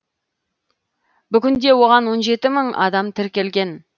бүгінде оған он жеті мың адам тіркелген